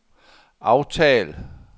aftal